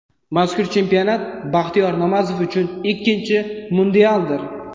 Mazkur chempionat Baxtiyor Namozov uchun ikkinchi mundialdir.